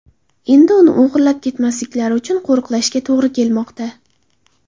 Endi uni o‘g‘irlab ketmasliklari uchun qo‘riqlashga to‘g‘ri kelmoqda.